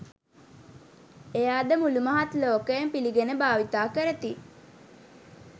එය අද මුලු මහත් ලෝකයම පිලිගෙන භාවිතා කරති.